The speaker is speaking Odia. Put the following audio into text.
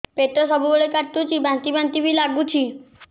ପେଟ ସବୁବେଳେ କାଟୁଚି ବାନ୍ତି ବାନ୍ତି ବି ଲାଗୁଛି